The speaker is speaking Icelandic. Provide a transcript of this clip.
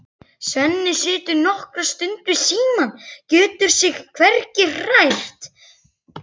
Svenni situr nokkra stund við símann, getur sig hvergi hrært.